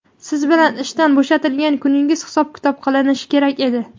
siz bilan ishdan bo‘shatilgan kuningiz hisob-kitob qilinishi kerak edi.